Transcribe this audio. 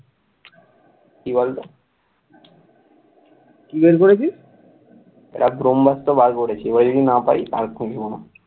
একটা ব্রহ্মাস্ত্র বার করেছি এবার যদি না পাই আর খুঁজবো না,